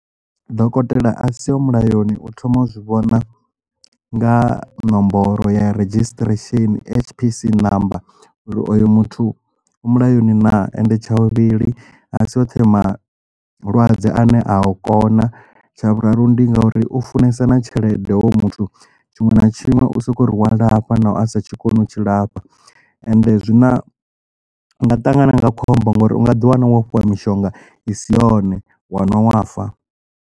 Dokotela a si ho mulayoni u thoma u zwi vhona nga nomboro ya redzhisṱiresheni HPC namba uri oyo muthu u mulayoni naa and tsha vhuvhili a si o the malwadze ane a u kona tsha vhuraru ndi ngauri u funesa na tshelede hoyo muthu tshiṅwe na tshiṅwe u soko ri wa lafha naho asa tshikoni u tshi lafha and zwi na nga ṱangana na khombo ngori u nga ḓi wana wo fhiwa mishonga i si yone wa nwa wa fa.